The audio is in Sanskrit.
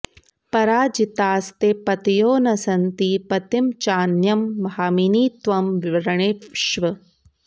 पराजितास्ते पतयो न सन्ति पतिं चान्यं भामिनि त्वं वृणीष्व